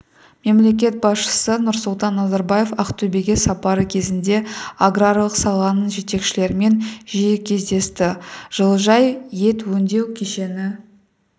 мемлекет басшысы нұрсұлтан назарбаев ақтөбеге сапары кезінде аграрлық саланың жетекшілерімен жиі кездесті жылыжай ет өңдеу кешені